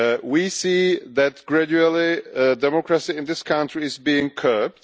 We see that gradually democracy in this country is being curbed.